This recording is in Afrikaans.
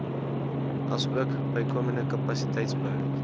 asook bykomende kapasiteitsbou